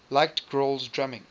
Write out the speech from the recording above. liked grohl's drumming